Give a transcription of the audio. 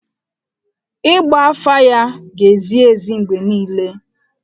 Ịgba afa ya ga-ezi ezi mgbe niile.